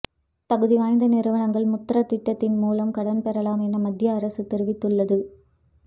தகுதிவாய்ந்த நிறுவனங்கள் முத்ரா திட்டத்தின் மூலம் கடன்பெறலாம் என மத்தியஅரசு தெரிவித்துள்ளது